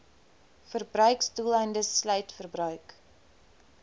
verbruiksdoeleindes sluit verbruik